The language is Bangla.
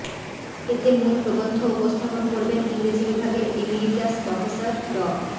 এতে মূল প্রবন্ধ উপস্থাপন করবেন ইংরেজি বিভাগের এমিরিটাস প্রফেসর ড